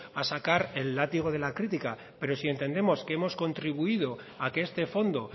a sacar el látigo de la crítica pero si entendemos que hemos contribuido a que este fondo